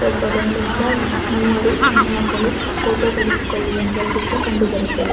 ಒಬ್ಬ ಗಂಡು ಮಗ ಇನ್ನು ಮೂವರು ಹೆಣ್ಣು ಮಕ್ಕಳು ಫೊಟೊ ತೆಗ್ಸಿಕೊಳ್ಳುವ ‌ ಚಿತ್ರ ಕಂಡುಬರುತ್ತದೆ.